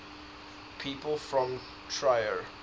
people from trier